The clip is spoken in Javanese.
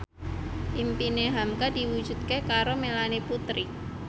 impine hamka diwujudke karo Melanie Putri